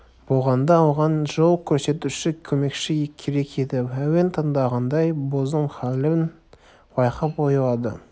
болғанда оған жол көрсетуші көмекші керек еді әуен тыңдағандай бозым халін байқап ойлады